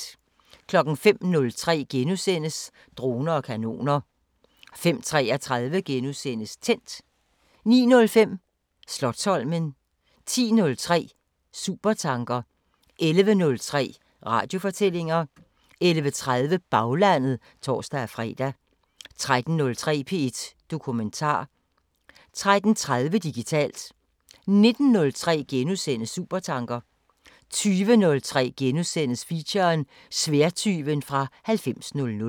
05:03: Droner og kanoner * 05:33: Tændt * 09:05: Slotsholmen 10:03: Supertanker 11:03: Radiofortællinger 11:30: Baglandet (tor-fre) 13:03: P1 Dokumentar 13:30: Digitalt 19:03: Supertanker * 20:03: Feature: Sværdtyven fra 9000 *